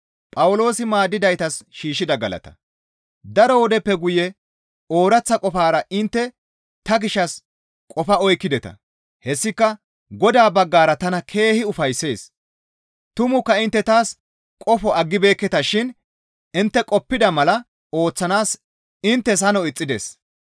Daro wodeppe guye ooraththa qofara intte ta gishshas qofo oykkideta; hessika Godaa baggara tana keehi ufayssees; tumukka intte taas qofo aggibeekketashin intte qoppida mala ooththanaas inttes hano ixxides.